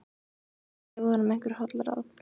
Hann gæti gefið honum einhver holl ráð.